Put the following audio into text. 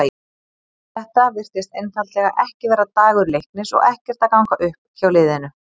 Þetta virtist einfaldlega ekki vera dagur Leiknis og ekkert að ganga upp hjá liðinu.